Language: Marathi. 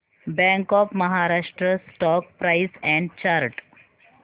bank of Maharashtra stock price and chart